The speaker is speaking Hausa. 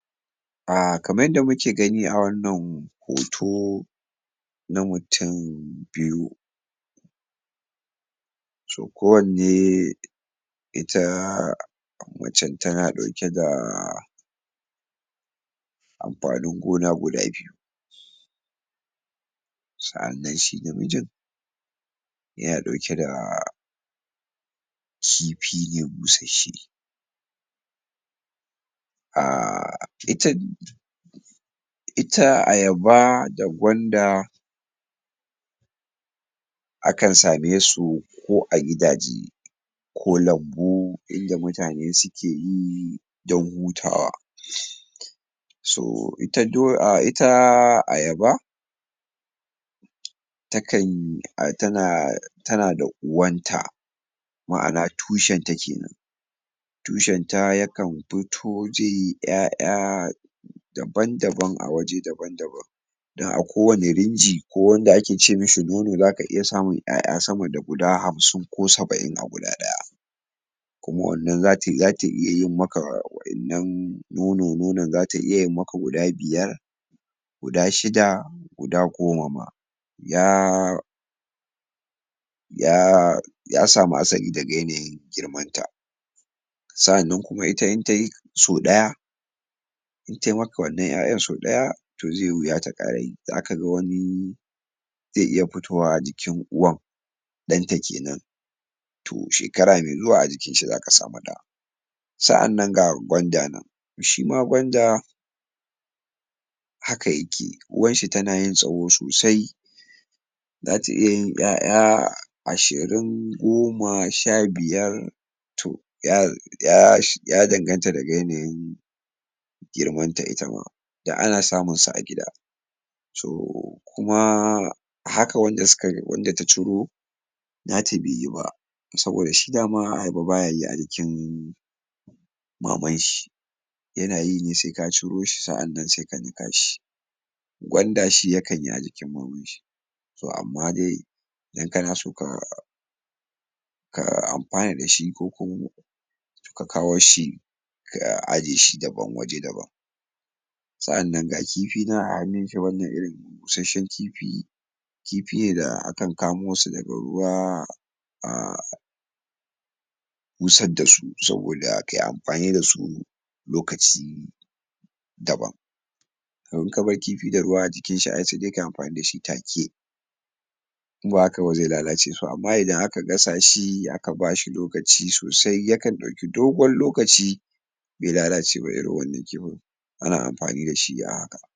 A kamar yadda muke gani a wannan hoto na mutum biyu so kowanne ita macen tana ɗauke da amfanin gona guda biyu sa'annan shi namijin yana ɗauke da kifi ne busasshe a ita uta ayaba da gwanda akan same su ko a gidaje ko lambu in da mutane suke yi don hutawa so ita dai ayaba takan a tana tana da uwanta ma'ana tushenta ke nan tushenta yakan tutuje ƴaƴa dabam-daban a waje dabam-daban don a kowane rinji ko wanda ake ce mashi goro za ka iya samun ƴaƴa sama da guda hamsin ko saba'in a guda ɗaya kuma wannan za ta iya yi maka wa'innan nuni-nuni za ta iya yi maka guda biyar guda shida guda goma ma ya ya samu asali daga yanayin girmanta sa'annan kuma ita in ta yi sau ɗaya in tai maka wannan ƴaƴan sau ɗaya to zai yi wuya ta ƙara yi. Za ka ga wani zai iya fitowa jikin uwar ɗanta ke nan to shekara mai zuwa a jikin shi za ka samu ɗa. sa'annan ga gwanda nan. Shi ma gwanda haka yake uwanshi tana yin tsawo sosai za ta iya yin ƴaƴa ashirin goma sha biyar to ya danganta daga yanayin girmanta ita ma da ana samunsu a gida. so kuma haka wanda suka wanda ta ciro nata bai yi ba, saboda dama shi ayaba bayayi a jikin mamanshi yanayi ne sai ka ciro shi sai ka nika shi gwanda shi yakan yi a jikin mamanshi to amma dai in kana shuka ka amfana da shi ko kuma ka kawo shi ka aje shi dabam waje dabam. sa'annan ga kifi nan a hannunshi wannan irin busasshen kifi kifi ne da akan kamo su daga ruwa a ana busas da su saboda kai amfani da su lokaci daban to in ka bar kifi da ruwa a jikinshi ai sai dai kai amfani da shi take in ba haka ba zai lalace to amma idan aka gasha shi a ka ba shi lokaci sosai yakan ɗauki dogon lokaci bai lalace ba irin wannan kifin ana amfani da shi a haka.